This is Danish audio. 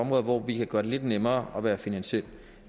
hvor vi kan gøre det lidt nemmere at være finansiel